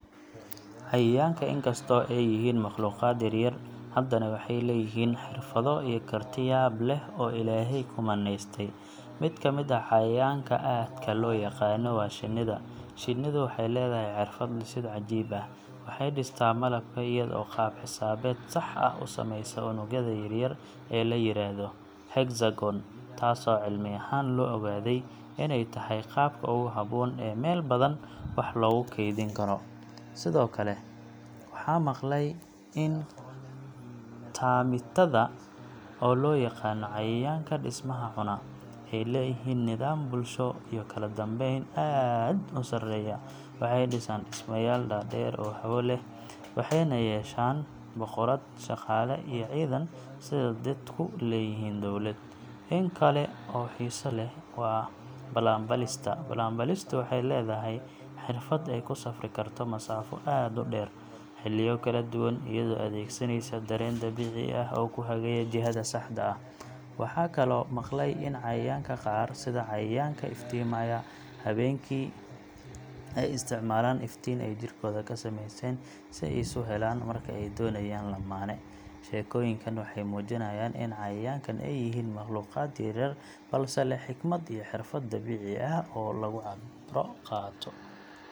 Cayayaanka, in kastoo ay yihiin makhluuqaad yaryar, haddana waxay leeyihiin xirfado iyo karti yaab leh oo Ilaahay ku manaystay. Mid ka mid ah cayayaanka aadka loo yaqaanno waa shinnida. Shinnidu waxay leedahay xirfad dhisid cajiib ah waxay dhistaa malabka iyada oo qaab xisaabeed sax ah u sameysa unugyada yar yar ee la yiraahdo hexagon, taasoo cilmi ahaan la ogaaday inay tahay qaabka ugu habboon ee meel badan wax loogu kaydin karo. Sidoo kale, waxaan maqlay in termiitada, oo loo yaqaanno cayayaanka dhismaha cunaa, ay leeyihiin nidaam bulsho iyo kala dambeyn aad u sarreeya. Waxay dhisaan dhismayaal dhaadheer oo hawo leh, waxayna yeeshaan boqorad, shaqaale, iyo ciidan—sida dadku leeyihiin dowlad. In kale oo xiiso leh waa balanbaalista. Balanbaalistu waxay leedahay xirfad ay ku safri karto masaafo aad u dheer, xilliyo kala duwan, iyadoo adeegsanaysa dareen dabiici ah oo ku hagaya jihada saxda ah. Waxaan kaloo maqlay in cayayaanka qaar, sida cayayaanka iftiimaya habeenkii , ay isticmaalaan iftiin ay jirkooda ka samaystaan si ay isu helaan marka ay doonayaan lammaane. Sheekooyinkan waxay muujinayaan in cayayaanka ay yihiin makhluuqaad yar yar balse leh xikmad iyo xirfad dabiici ah oo lagu cibra qaato.